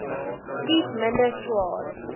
kies minder swaar